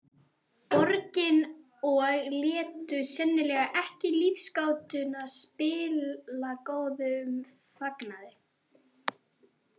Borginni og létu sennilega ekki lífsgátuna spilla góðum fagnaði.